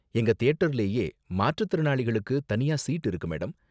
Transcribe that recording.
எங்க தியேட்டர்லயே மாற்றுத்திறனாளிகளுக்கு தனியா சீட் இருக்கு மேடம்.